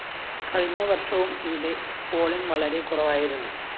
കഴിഞ്ഞ വര്‍ഷവും ഇവിടെ പോളിങ്‌ വളരെ കുറവായിരുന്നു